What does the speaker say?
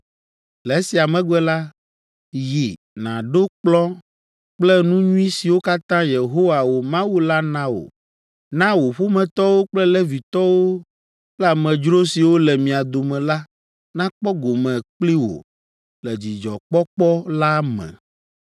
Le esia megbe la, yi nàɖo kplɔ̃ kple nu nyui siwo katã Yehowa, wò Mawu la na wò. Na wò ƒometɔwo kple Levitɔwo kple amedzro siwo le mia dome la nakpɔ gome kpli wò le dzidzɔkpɔkpɔ la me.